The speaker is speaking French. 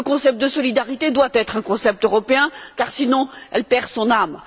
Le concept de solidarité doit être un concept européen car, sinon, cette solidarité perd son âme.